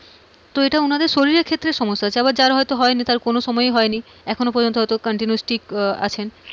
তো এটা উনাদের শরীরের ক্ষেত্রে সমস্যা হচ্ছে আবার যার হয়তো হয়নি তার কোনো সময়ই হয় নি এখনো পর্যন্ত হয়তো continue ঠিক আছেন,